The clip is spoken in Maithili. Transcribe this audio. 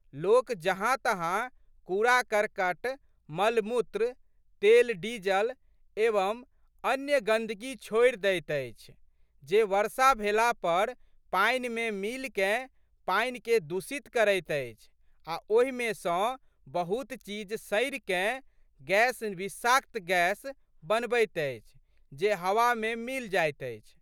लोक जहाँतहाँ कूड़ाकर्कट, मलमूत्र, तेलडीजल एवं अन्य गंदगी छोड़ि दैत अछि जे वर्षा भेला पर पानिमे मिलिकए पानिके दूषित करैत अछि आ' ओहिमे सँ बहुत चीज सड़िकए गैस विषाक्त गैस बनबैत अछि जे हवामे मिलि जाइत अछि।